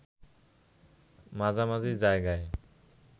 মাঝামাঝি জায়গায়